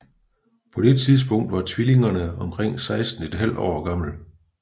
På det tidspunkt var tvillingerne omkring 16 ½ år gammel